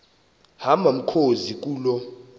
hamba mkhozi kuloo